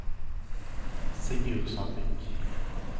Sigurd Sandvik